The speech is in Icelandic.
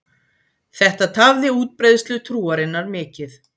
Þetta tafði útbreiðslu trúarinnar mikið.